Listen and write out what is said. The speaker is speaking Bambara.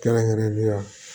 Kɛrɛnkɛrɛnnenya